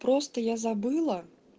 просто я забыла